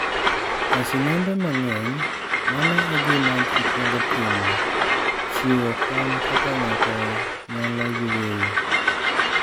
E sinembe mang'eny, mano e gima ji kwongo timo(chiwo kony kaka ng'ato nyalo yweyo)